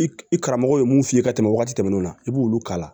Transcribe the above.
I karamɔgɔ ye mun f'i ye ka tɛmɛ waati tɛmɛnenw na i b'olu k'a la